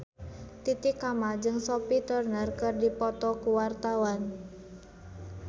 Titi Kamal jeung Sophie Turner keur dipoto ku wartawan